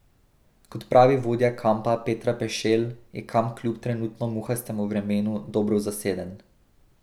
Kot pravi vodja kampa Petra Pešelj, je kamp kljub trenutno muhastemu vremenu dobro zaseden.